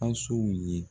Asow ye